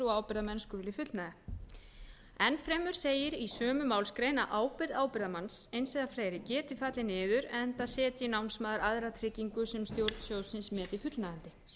og ábyrgðarmenn skuli fullnægja enn fremur segir í sömu málsgrein að ábyrgð ábyrgðarmanns eins eða fleiri geti fallið niður enda setji námsmaður aðra tryggingu sem stjórn sjóðsins meti fullnægjandi